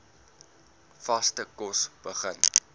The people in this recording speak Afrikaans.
vaste kos begin